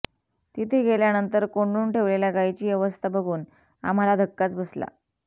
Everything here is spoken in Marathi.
तिथे गेल्यानंतर कोंडून ठेवलेल्या गायीची अवस्था बघून आम्हाला धक्काच बसला